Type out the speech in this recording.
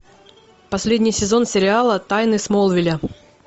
последний сезон сериала тайны смолвиля